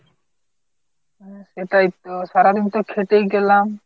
হ্যাঁ সেটাই তো সারাদিনতো খেটেই গেলাম।